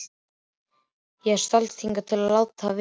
Ég stalst hingað til að láta vita.